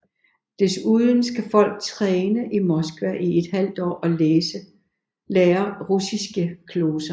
Desuden skal folk træne i Moskva i et halvt år og lære russiske gloser